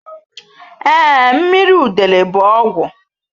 Ee, mmiri udele bụ ọgwụ.